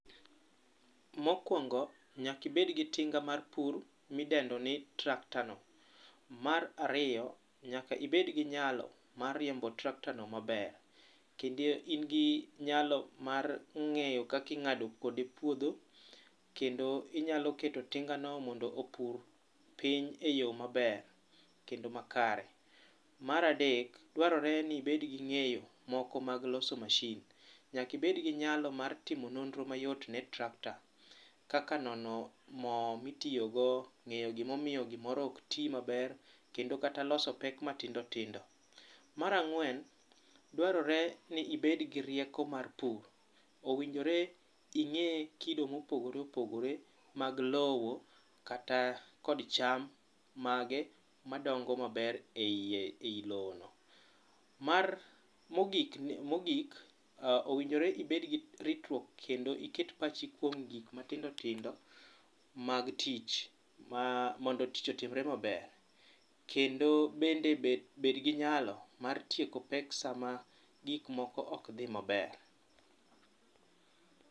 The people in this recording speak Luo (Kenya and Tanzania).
Mokwongo, nyaka ibed gi tinga mar pur midendo ni tractor no. Mar ariyo, nyaka ibed gi nyalo mar riembo tractor no maber kendo in gi nyalo mar ng'eyo kaka ing'ado kode puodho, kendo inyalo keto tingano mondo opur piny e yoo maber kendo makare. Mar adek, dwarore ni ibed gi ng'eyo moko mag loso machine. Nyaka ibed gi nyalo mar timo nonro mayot ne tractor kaka nono moo mitiyogo, ng'iyo gimomiyo gimoro ok tii maber kendo kata loso pek matindotindo. Mar ang'wen, dwaro ni mondi ibed gi rieko mar pur, owinjore ing'ee kido mopogoreopogore mag lowo, kata kod cham mage madongo maber e iye ei lowono. Mar, mogik, onegore ibed gi ritruok kendo iket pachi kuom gik matindotindo mag tich mondo tich otimre maber. Kendo bende bed gi nyalo mar tieko pek sama gik moko ok dhi maber.